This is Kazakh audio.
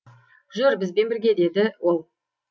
жүр бізбен бірге деді ол